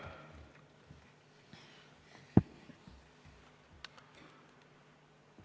Palun!